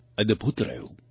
અદ્ભુત રહ્યું